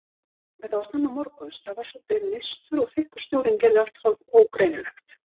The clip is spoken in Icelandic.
Þetta var snemma morguns, það var svolítið mistur og þykkur snjórinn gerði allt hálf ógreinilegt.